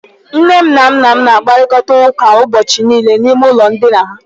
Nne m na nna m na-akparịta ụka ụbọchị niile n'ime ụlọ ndina ha.